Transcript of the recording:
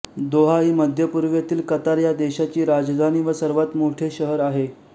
Doha ही मध्यपूर्वेतील Qatar ह्या देशाची राजधानी व सर्वात मोठे शहर आहे